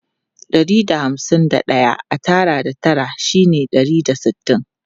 Ɗari da hamsin da ɗaya a tara da tara shine ɗari da sittin.